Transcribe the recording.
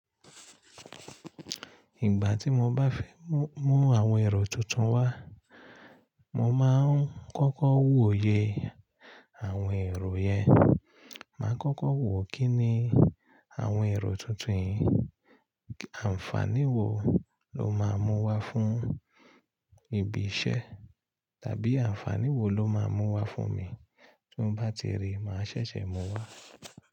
Ìgbà tí mo bá fẹ́ mú, mú àwọn ẹ̀rọ tuntun wá, mo máa ń kọ́kọ́ wòye àwọn ẹ̀rọ yẹn. Máa kọ́kọ́ wò kí ni àwọn ẹ̀rọ tuntun yìí àǹfàní wo ló máa mú wá fún ibi iṣẹ́ tàbí àǹfàní wo ló máa mú wá fún mi. Tí n bá ti rí, màá ṣẹ̀ṣẹ̀ mú wá.